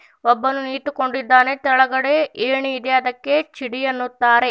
ಒಬ್ಬನು ನಿಂತುಕೊಂಡಿದ್ದಾನೆ ತೆಳಗಡೆ ಏಣಿ ಇದೆ ಅದಕ್ಕೆ ಚಿಡಿ ಎನ್ನುತ್ತಾರೆ.